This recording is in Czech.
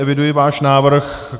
Eviduji váš návrh.